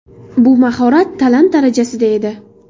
Bu mahorat talant darajasida edi.